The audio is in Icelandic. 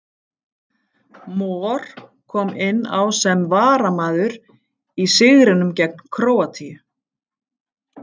Mor kom inn á sem varamaður í sigrinum gegn Króatíu.